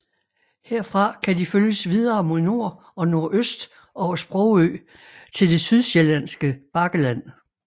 Herfra kan de følges videre mod nord og nordøst over Sprogø til det sydsjællandske bakkeland